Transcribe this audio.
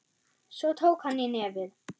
Svo tók hann í nefið.